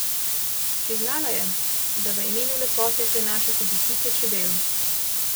Priznala je, da v imenu lepote prenaša tudi pike čebel.